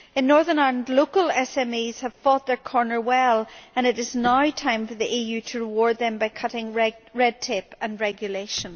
In Northern Ireland, local SMEs have fought their corner well and it is now time for the EU to reward them by cutting red tape and regulation.